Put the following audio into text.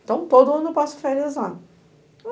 Então, todo ano eu passo férias lá.